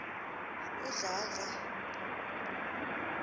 udladla